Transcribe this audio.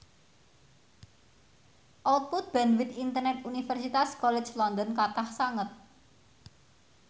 output bandwith internet Universitas College London kathah sanget